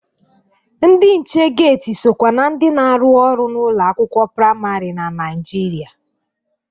Ndị nche geti sokwa na ndị na-arụ ọrụ n'ụlọ akwụkwọ praịmarị na Naịjirịa.